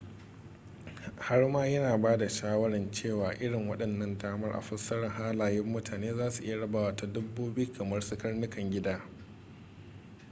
har ma yana ba da shawarar cewa irin waɗannan damar a fassara halayen mutane za su iya rabawa ta dabbobi kamar su karnukan gida